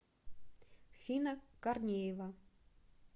фина корнеева